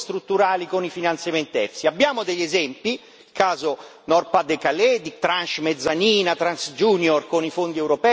Abbiamo degli esempi, il caso Nord Pas de Calais, di tranche mezzanine, tranche junior con i fondi europei, ma sono ancora dei casi isolati.